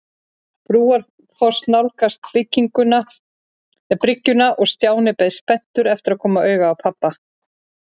Brúarfoss nálgast bryggjuna og Stjáni beið spenntur eftir að koma auga á pabba.